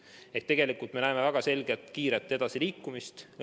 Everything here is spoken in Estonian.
Nii et tegelikult me näeme väga selgelt kiiret edasiliikumist.